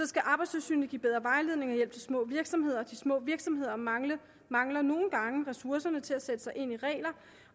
skal arbejdstilsynet give bedre vejledning og hjælp til små virksomheder de små virksomheder mangler mangler nogle gange ressourcerne til at sætte sig ind i reglerne